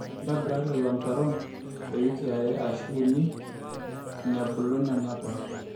ntobira lelo mutaron iwikii are ashu uni inebulu nena poosho